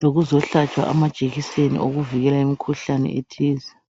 lokuzohlaba amajekiseni okuvikela imkhuhlane ethize.